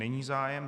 Není zájem.